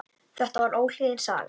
Þetta var óhlýðin saga.